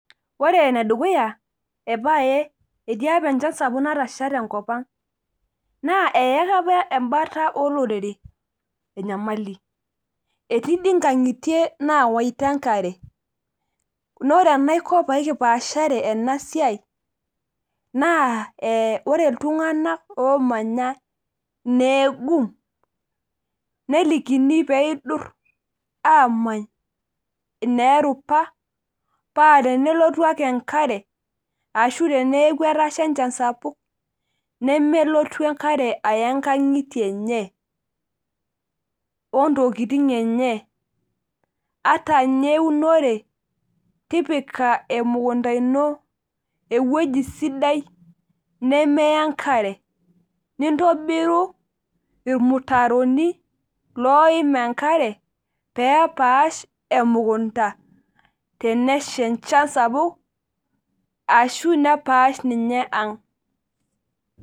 Ore ene dukuya epaae, etii apa enchan sapuk Natasha tenakop ang naa eyaka apa enkata ilorere enyamali. etii dii nkang'itie naawaita enkare. naa ore enaiko pee mipaashare ena siai, naa ee ore iltunganak oomanya ineegum. nelikini pee idur aamany, ineerupa. paa tenelotu ake enkare, ashu teneeku etasha enchan sapuk, nemelotu enkare aya nkang'itie enye. ontokitin enye. ata ninye eunore, tipika emukunta ino ewueji sidai, nemeya enkare. nintobiru ilmutaroni, looim enkare, pee epaasha emukunta. tenesha enchan sapuk. ashu nepaash ninye ang'.